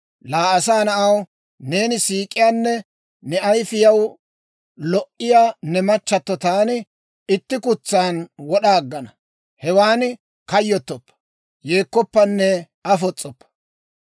«Laa asaa na'aw, neeni siik'iyaanne ne ayifiyaw lo"iyaa ne machchato taani itti kutsan wod'a aggana. Hewan kayyottoppa, yeekkoppanne afos's'oppa.